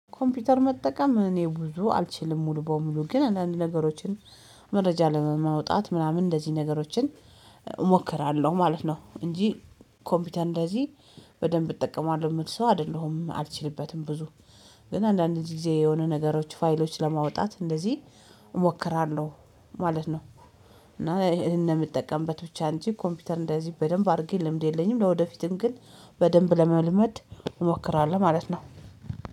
ኮምፒውተር መጠቀም እኔ ብዙ አልችልም ሙሉ በሙሉ ግን አንዳንድ ነገሮችን መረጃ ለመውጣት ምናምን እንደዚህ ነገሮችን እሞክራለሁ ማለት ነው። እንጂ ኮምፒውተር እንደዚህ በደንብ እጠቀማለሁ የምልሰው አይደለሁም አልችልበትም። ብዙ ግን አንዳንድ ጊዜ የሆነ ነገሮች ፋይሎች ለማውጣት እንደዚህ እሞክራለሁ ማለት ነው። እና ይሄን የምጠቀምበት ብቻ እንጂ ኮምፒውተር እንደዚህ በደንብ አድርጌ ልምድ የለኝም። ለወደፊቱም ግን በደንብ ለመልመድ እሞክራለሁ ማለት ነው።